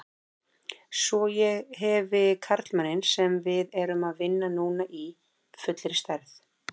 Svo ég hefi karlmanninn sem við erum að vinna núna í fullri stærð.